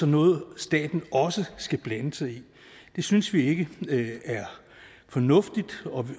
noget staten også skal blande sig i det synes vi ikke er fornuftigt